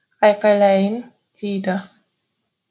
айқайлайын дейді